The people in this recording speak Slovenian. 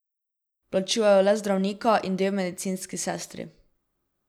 Plačujejo le zdravnika in dve medicinski sestri.